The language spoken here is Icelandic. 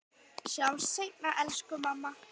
Sjáumst seinna, elsku mamma.